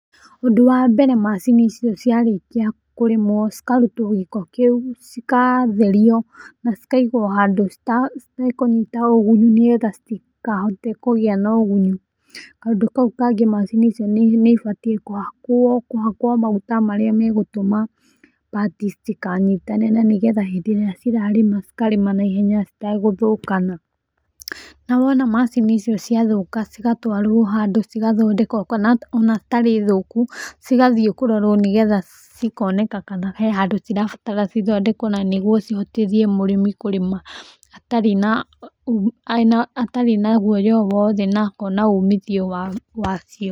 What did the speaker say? Ũndũ wa mbere macini icio cia rĩkia kũrĩma cikarũtwo gĩko kĩũ, cikatherio na cikaigwo handũ citakũnyita ũgunyu nĩ getha citikahote kũgĩa na ũgunyu. Kaũndũ kau kangĩ macini icio nĩ ibatie kũhakwo maguta marĩa megũtũma pati citikanyitane na nĩgetha hĩndĩ ĩrĩa cirarĩma cikarĩma na ihenya citegũthũkana .Na wona macini icio ciathũka cigatwarwo handũ cigathondekwo. Ona citarĩ thũku cigathi kũrorwo nĩ getha cikoneka kana hehandũ cirabatara cithondekwo na nĩgũo cihotĩthĩe mũrĩmi kũrĩma atarĩ na gũoya o wothe na akona ũmithio wa cio.